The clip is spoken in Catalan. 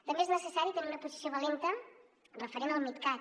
també és necessari tenir una posició valenta referent al midcat